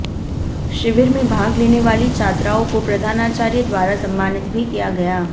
शिविर में भाग लेने वाली छात्राओं को प्रधानाचार्य द्वारा सम्मानित भी किया गया